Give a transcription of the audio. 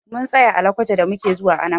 Mun tsaya a lokoja da muke zuwa Anambra.